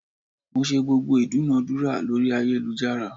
Mo ṣe gbogbo ìdúnadúrà lórí ayélujára.